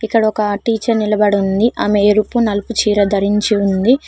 ఇక్కడ ఒక టీచర్ నిలబడి ఉంది ఆమె ఎరుపు నలుపు చీర ధరించి ఉంది.